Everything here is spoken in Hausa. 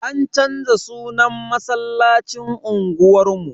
An canza sunan masallacin unguwar mu.